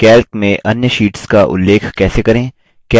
calc में अन्य sheets का उल्लेख कैसे करें